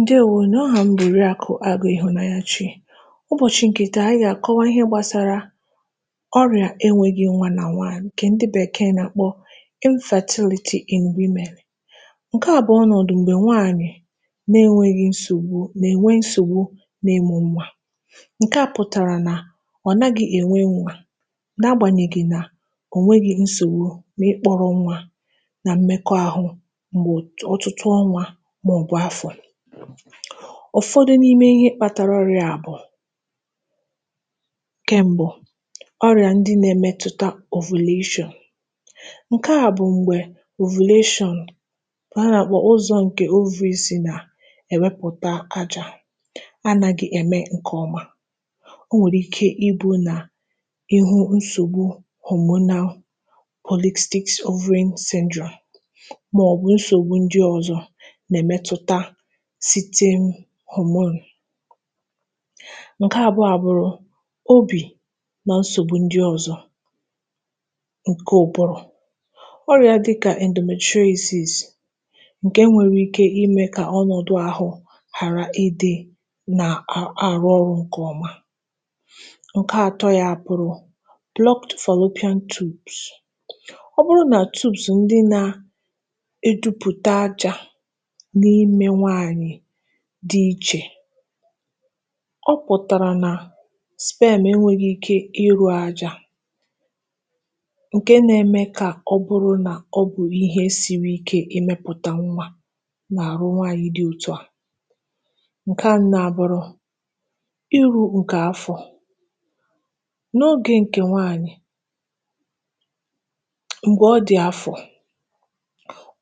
ǹdeèwo nụ̀. ahà m bụ̀ Òriàkụ̀ Agụ Ihụ̀nanyachị. ụbọ̀chị ǹkè tà, anyị gà àkọwa ihe gbàsara ọrị̀à e nweghi nwa nà nwànyị̀, ǹkẹ̀ ndị Bẹ̀kẹ̀ẹ̀ nà àkpọ infertility in women. ǹkẹ à bụ̀ ọnọ̀dụ̀ m̀gbẹ nwanyị, na e nweghị nsògbu, nà è nwe nsògbu na ịmụ̄ nwa. ǹkẹ̀ à pụ̀tàrà nà, ọ̀ naghị̄ è nwe nwā, na agbànyeghị nà ọ nweghi nsògbu n’ịkpọrọ nwa, na mmẹkọ ahụ m̀gbè ọtụtụ ọnwā, mà ọ̀ bụ̀ afọ̀. ụ̀fọdụ n’ime ihe kpatara ọrịā bụ̀, ǹkẹ mbụ, ọrị̀à ndị na ẹmẹtụta ovulation. ǹkẹ à bụ̀ m̀gbè ovulation, yà bụ̀ ụzọ̄ ǹkè ovaries nà ẹ̀wẹpụ̀ba ajā, anaghị ẹ̀mẹ ǹkẹ̀ ọma. o nwèrè ike ị bụ̄ nà, I hụ nsògbu hormonal polystic ovary syndrome, mà ọ̀ bụ̀ nsògbu ndị ọzọ, nà ẹ̀mẹtụta certain hormone. ǹkẹ àbụọ a bụrụ, obì na nsògbu ndị ọzọ ǹkẹ ụ̀bụrụ̀. ọrịā dị kà endometriosis, ǹke nwẹrẹ ike ịmẹ̄ kà ọnọ̀dụ àhụ ghàra ị dị nà àrụ ọrụ̄ ǹkè ọma. ǹkẹ atọ ya a bụrụ, blocked fallopian tubes. ọ bụrụ nà tubes ndị na edupùte ajā n’ime nwanyị̀ dị ichè, ọ pụ̀tàrà nà sperm e nwere ike ị rū ajā, ǹkẹ na ẹmẹ kà ọ bụrụ nà ọ bụ̀ ịhẹ siri ike ịmẹ̄oụ̀tà nwa nà àrụ nwanyị dị etu à. ǹkẹ anọ a bụrụ, irūpùtè afọ. n’ogè ǹkẹ̀ nwanyị̀, m̀gbẹ ọ dị̀ afọ̀,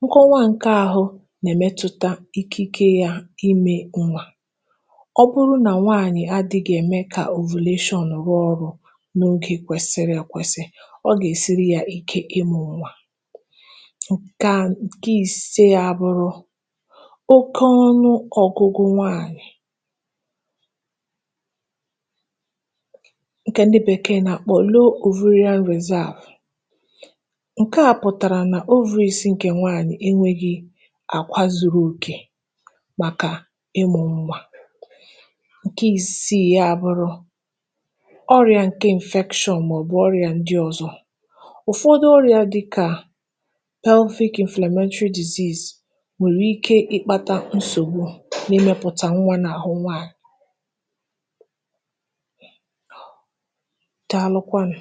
nkọwa ǹkẹ ahụ nà ẹ̀mẹtụta ikike yā imē nwa. ọ bụ nà nwanyị̀ adịghị ẹ̀mẹ kà ovulation rụọ ọrụ̄ n’ogē kwẹsị ẹkwẹsị, ọ gà èsiri ya ike ị mụ̄ nwa. ǹkẹ ise a bụrụ, oke ọnụ ọgụgụ nwanyị, ǹkẹ̀ ndị Bẹ̀kẹ̀ẹ̀ nà àkpọ low ovarian reserve. ǹkẹ à pụ̀tàrà nà ovaries ǹkè nwanyị ẹ nwẹghị àkwa zuru òkè, màkà ịmụ̄ nwa. ǹkẹ isiì ya a bụrụ, ọrịā ǹkẹ infection mà ọ̀ bụ ọrị̀à ndị ọzọ. ụ̀fọdụ ọrịā dị kà pelvic Inflammatory disease, nwẹ̀rẹ̀ ike ị kpata nsògbu nà ịmẹpụ̀tà nwa nà àhụ nwanyị̀. Daalụkwanụ̀.